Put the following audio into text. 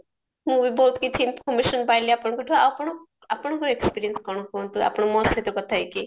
ମୁଁ ବି ବହୁତ କିଛି information ପାଇଲି ଆପଣଙ୍କଠୁ ଆଉ ଆପଣ ଆପଣଙ୍କ experience କଣ କୁହନ୍ତୁ ଆପଣ ମୋ ସହିତ କଥା ହେଇକି